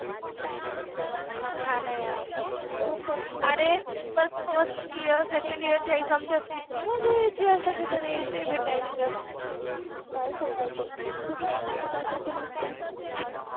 हा न यार शप्पथ, परत फर्स्ट इयर, सेकण्ड इयर च्या एग्जाम च्या वेळेस किति मजा यायचि यार सगळे जण यायचे, भेटायचे तर काय सांगायच, धिंगाना मस्ति असायचि नुस्ति